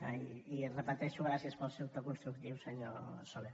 i ho repeteixo gràcies pel seu to constructiu senyor soler